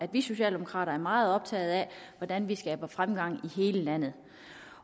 at vi socialdemokrater er meget optaget af hvordan vi skaber fremgang i hele landet